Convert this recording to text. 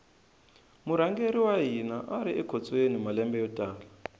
murhangeri wa hina ari ekhotsweni malembe yo tala